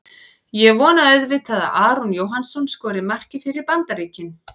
Ég vona auðvitað að Aron Jóhannsson skori markið fyrir Bandaríkin.